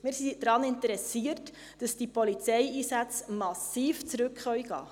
Wir sind daran interessiert, dass diese Polizeieinsätze massiv zurückgehen können.